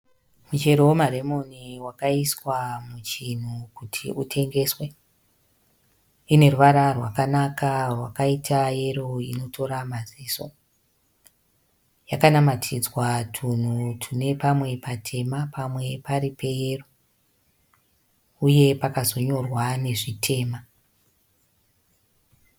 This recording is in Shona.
Michero wemaremoni akaiswa muchinhi kuti utengeswe. Ine ruvara rwakanaka rwaita yero inotora maziso. Yakanamatidzwa tunhu tune pamwe patema pamwe pari peyero, uye pakazonyorwa nezvitema.